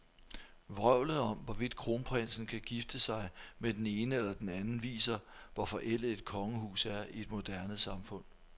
Vrøvlet om, hvorvidt kronprinsen kan gifte sig med den ene eller den anden, viser, hvor forældet et kongehus er i et moderne samfund.